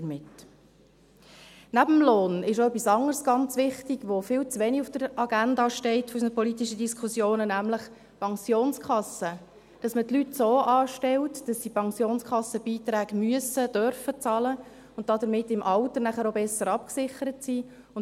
Neben dem Lohn ist etwas anderes ganz wichtig, das viel zu wenig auf der Agenda unserer politischen Diskussionen steht, nämlich die Pensionskasse: dass man die Leute so anstellt, dass sie Pensionskassenbeiträge bezahlen müssen und dürfen und damit nachher im Alter auch besser abgesichert sind.